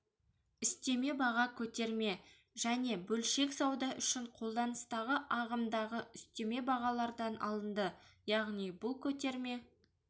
үстеме баға көтерме және бөлшек сауда үшін қолданыстағы ағымдағы үстеме бағалардан алынды яғни бұл көтерме